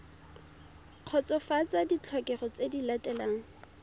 kgotsofatsa ditlhokego tse di latelang